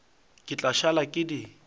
ke tla šala ke di